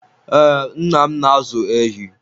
we, nna m na-ázụ̀ ehi